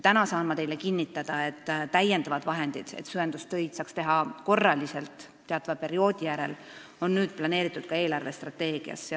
Täna saan teile kinnitada, et lisavahendid, selleks et süvendustöid saaks teha korraliselt teatava perioodi järel, on nüüd planeeritud eelarvestrateegiasse.